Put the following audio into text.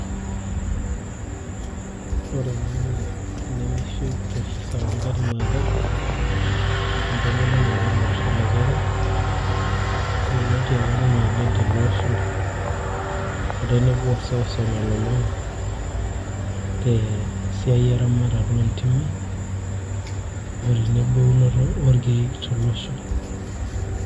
ore ena naa enemeishu professor wangari matha,i entomononi apa olosho lekenya yieloti apa ninye oleng' tolosho ote seuseu nalulung'a tesiai eramatare oontimi , otenebo eunoto oo irkeek tolosho.